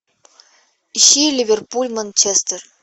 ищи ливерпуль манчестер